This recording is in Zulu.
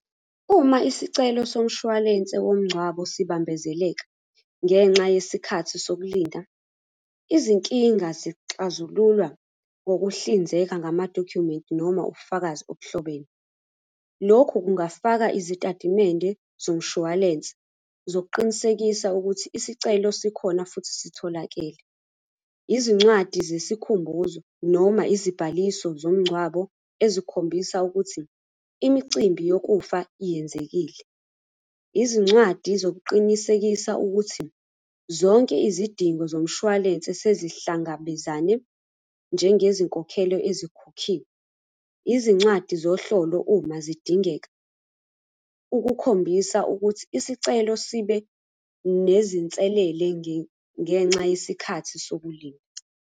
Uma isicelo somshwalense womngcwabo sibambezeleka ngenxa yesikhathi sokulinda, izinkinga zixazululwa ngokuhlinzeka ngamadokhumenti noma ubufakazi obuhlobene. Lokhu kungafaka izitatimende zomshwalense, zokuqinisekisa ukuthi isicelo sikhona futhi sitholakele. Izincwadi zesikhumbuzo noma izibhaliso zomngcwabo ezikhombisa ukuthi imicimbi yokufa yenzekile. Izincwadi zokuqinisekisa ukuthi, zonke izidingo zomshwalense sezihlangabezane njengezinkokhelo ezikhokhiwe. Izincwadi zohlolo uma zidingeka, ukukhombisa ukuthi isicelo sibe nezinselele ngenxa yesikhathi sokulinda.